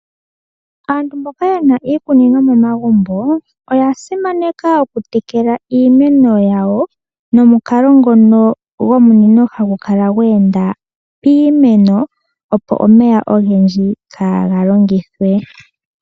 Aantu mboka yena iikunino momagumbo oya simaneka oku tekela iimeno yawo nomukalo ngono gomunino hagu kala gwe enda piimeno, opo omeya ogendji kaaga longithwe.